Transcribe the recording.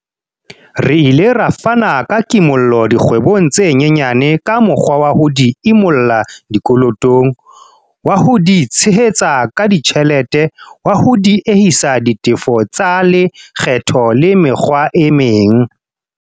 Re ile ra fana ka kimollo dikgwebong tse nyenyane ka mokgwa wa ho di imolla dikolotong, wa ho di tshehetsa ka ditjhelete, wa ho diehisa ditefo tsa le kgetho le mekgwa e meng.